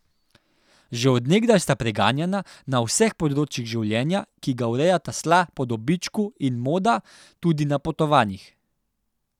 Že od nekdaj sta preganjana na vseh področjih življenja, ki ga urejata sla po dobičku in moda, tudi na potovanjih.